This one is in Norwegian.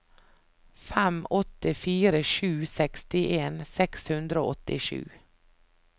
fem åtte fire sju sekstien seks hundre og åttisju